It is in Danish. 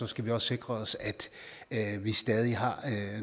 skal sikre os at vi stadig har